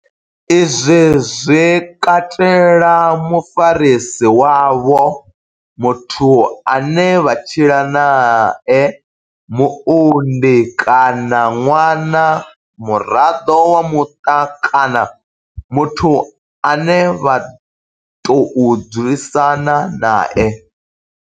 Izwi zwi katela mufarisi wavho, muthu ane vha tshila nae, muunḓi kana ṅwana, muraḓo wa muṱa kana muthu ane vha tou dzulisana nae.